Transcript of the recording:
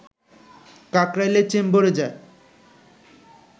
কাকরাইলের চেম্বরে যায়